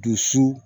Dusu